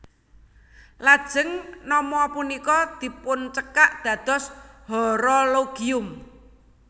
Lajeng nama punika dipuncekak dados Horologium